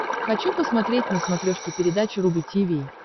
хочу посмотреть на смотрешке передачу рубль ти ви